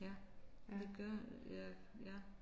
Ja det gør ja ja